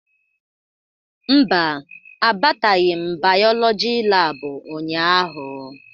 Mba, abataghị m bayolọjị laabụ ụnyaahụ.